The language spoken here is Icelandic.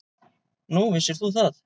Nú, vissir þú það?